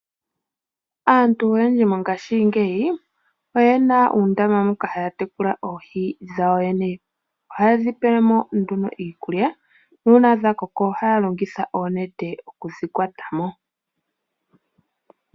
Aantu oyendji mongaashingeyi oyena uundombe moka haya tekula oohi dhawo yene. Oha ye dhi pele mo iikulya. Uuna dha koko ohaya longitha oonete okudhi kwata mo.